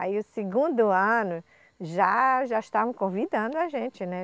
Aí o segundo ano já, já estavam convidando a gente, né?